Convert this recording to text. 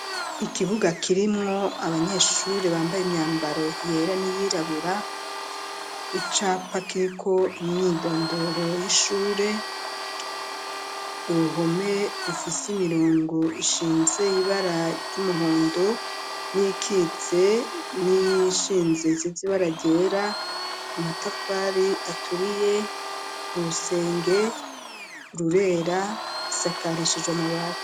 Ikibuga kirimwo abanyeshure bambaye imyambaro yera n'iyirabura, icapa kiriko imyidondoro y'Ishure, uruhome rufise imirongo ishinze, ibara ry'umuhondo n'iyikitse n'iyishinze isize ibara ryera, amatafari aturiye, urusenge rurera rusakarishijwe amabati.